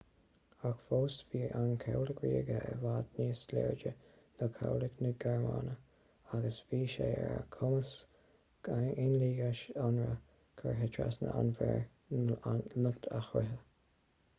ach fós bhí an cabhlach ríoga i bhfad níos láidre ná cabhlach na gearmáine kriegsmarine” agus bhí sé ar a chumas aon loingeas ionraidh curtha trasna an mhuir niocht a scriosadh